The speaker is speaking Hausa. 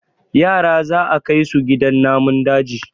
yara za a Kai su gidan namun daji